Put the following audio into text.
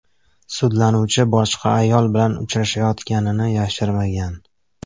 Sudlanuvchi boshqa ayol bilan uchrashayotganini yashirmagan.